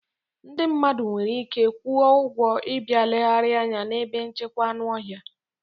Ndị mmadụ nwere ike kwụọ ụgwọ ị bịa legharia anya n'ebe nchekwa anụ ọhịa.